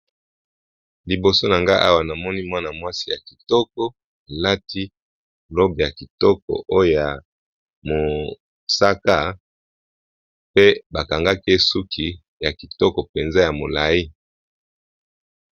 Liboso na nga awa namoni mwana mwasi ya kitoko alati robe ya kitoko oyo mosaka pe bakangaki esuki ya kitoko mpenza ya molai.